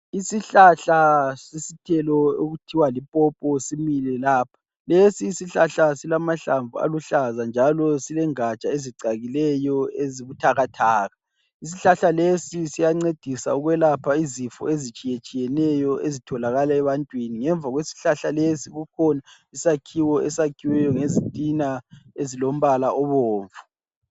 Isihlahla sesithelo okuthiwa lipopo simile lapha , lesi isihlahla silamahlamvu aluhlaza njalo silengatsha ezicakileyo ezibuthakathaka. Isihlahla lesi siyancedisa ukwelapha izifo ezitshiyetshiyeneyo ezitholakala ebantwini, ngemva kwesihlahla lesi kukhona isakhiwo esakhiwe ngezitina ezilombala obomvu.